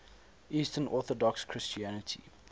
eastern orthodox christianity